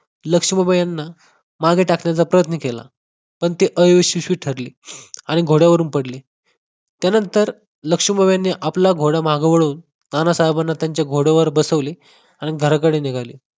लक्ष्मीबाई यांना मागे टाकण्याचा प्रयत्न केला. पण ते अयशस्वी ठरले आणि घोड्यावरून पडले. त्या नंतर लक्ष्मीबाईंनी आपला घोडा मागं वळवून नानासाहेबांना त्यांच्या घोड्यावर बसवले आणि घराकडे निघाले.